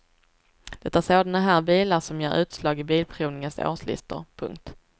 Det är sådana här bilar som ger utslag i bilprovningens årslistor. punkt